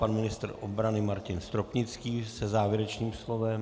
Pan ministr obrany Martin Stropnický se závěrečným slovem.